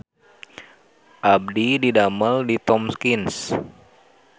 Abdi didamel di Tomkins